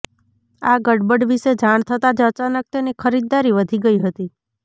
આ ગડબડ વિશે જાણ થતા જ અચાનક તેની ખરીદારી વધી ગઈ હતી